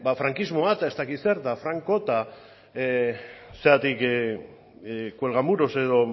frankismoa eta ez dakit zer eta franko eta zergatik cuelgamuros edo